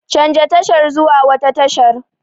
Canja tashar zuwa wata tashar!